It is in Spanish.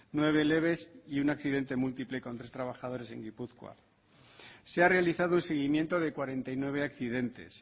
nueve leves y un accidente múltiple con tres trabajadores en gipuzkoa se ha realizado el seguimiento de cuarenta y nueve accidentes